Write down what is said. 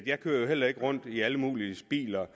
jeg kører jo heller ikke rundt i alle muliges biler